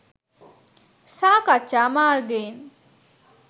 සාකච්ඡා මාර්ගයෙන්